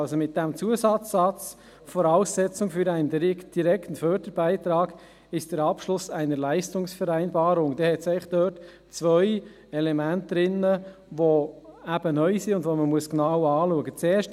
Durch den Zusatzsatz «Voraussetzung für einen direkten Förderbeitrag ist der Abschluss einer Leistungsvereinbarung» sind eigentlich zwei Elemente enthalten, die neu sind und die man genau anschauen muss.